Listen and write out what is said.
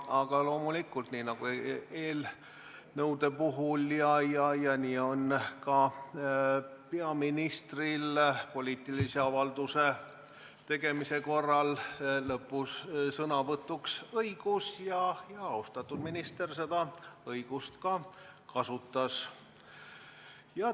Aga loomulikult, nii nagu eelnõude puhul, nii on ka peaministril poliitilise avalduse tegemise korral lõpus sõnavõtuõigus ja austatud peaminister seda õigust ka kasutas.